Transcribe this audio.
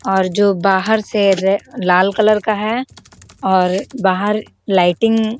और जो बाहर से रे लाल कलर का है और बाहर लाइटिंग --